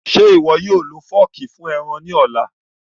Ṣe iwọ yóò lo fọọki fun ẹran ni ọla?